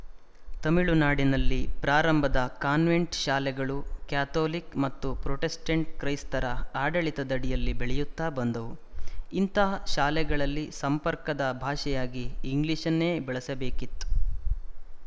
ತುಮಿಳುನಾಡಿನಲ್ಲಿ ಪ್ರಾರಂಭದ ಕಾನ್ವೆಂಟ್ ಶಾಲೆಗಳು ಕ್ಯಾಥೊಲಿಕ್ ಮತ್ತು ಪ್ರೊಟೆಸ್ಟೆಂಟ್ ಕ್ರೈಸ್ತರ ಆಡಳಿತದಡಿಯಲ್ಲಿ ಬೆಳೆಯುತ್ತಾ ಬಂದವು ಇಂಥಾ ಶಾಲೆಗಳಲ್ಲಿ ಸಂಪರ್ಕದ ಭಾಷೆಯಾಗಿ ಇಂಗ್ಲಿಶನ್ನೇ ಬಳಸಬೇಕಿತ್ತು